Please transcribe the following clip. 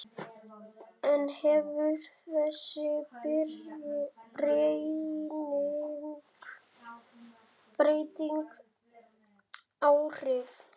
En hefur þessi breyting áhrif?